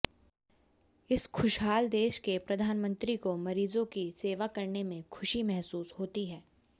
इस खुशहाल देश के प्रधानमंत्री को मरीजों की सेवा करने में खुशी महसूस होती है